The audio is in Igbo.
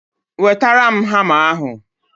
Wetara ya hama ahụ!